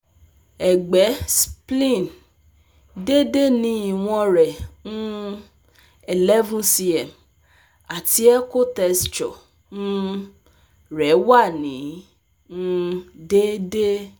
Ẹgbẹ (Spleen): Dede ni iwọn rẹ um - eleven cm ati ekotexture um rẹ wa ni um deede